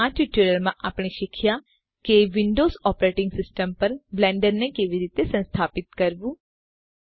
તો આ ટ્યુટોરીયલમાં આપણે શીખ્યાં કે વિંડોવ્ઝ ઓપરેટીંગ સીસ્ટમ પર બ્લેન્ડરને કેવી રીતે સંસ્થાપિત કરવું